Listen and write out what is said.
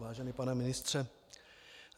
Vážený pane ministře.